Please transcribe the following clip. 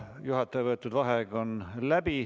Juhataja võetud vaheaeg on läbi.